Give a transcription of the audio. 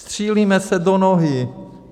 Střílíme se do nohy.